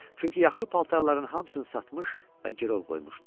Çünki yaxşı paltarların hamısını satmış və girov qoymuşdu.